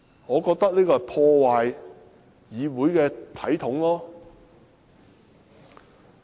我覺得這破壞了議會的體統。